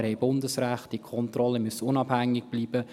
Wir haben Bundesrecht, die Kontrollen müssen unabhängig bleiben.